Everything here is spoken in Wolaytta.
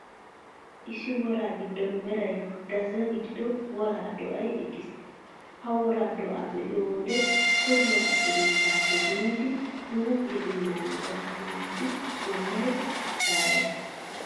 Issi woraa giddon meray gazza gidido woraa do'ay eqqiis. Ha wora do'aa be'iyoo wode tohuwaa xugunttaappe biidi huuphiyaa binnaanaa gakkanaashin, bollay caalees.